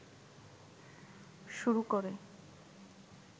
শুরু করে